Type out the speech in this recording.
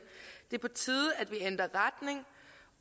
det er på tide